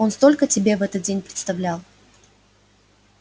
он столько себе этот день представлял